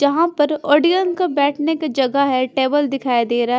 जहाँ पर ऑडियंस का बैठने का जगह है टेबल दिखाई दे रहा है।